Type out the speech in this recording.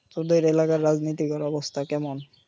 তোদের এলাকায় রাজনিতিকের অবস্থা কেমন?